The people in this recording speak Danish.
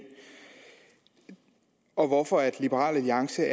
og hvorfor liberal alliance